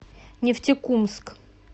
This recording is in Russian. нефтекумск